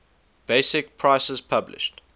basic prices published